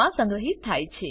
મા સંગ્રહિત થાય છે